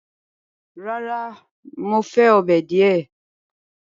Rárá, Mo fẹ ọ́bẹ̀ diẹ